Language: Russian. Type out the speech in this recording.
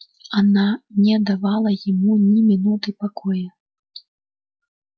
она не давала ему ни минуты покоя